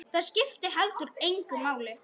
Það skipti heldur engu máli.